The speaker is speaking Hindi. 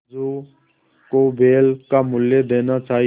समझू को बैल का मूल्य देना चाहिए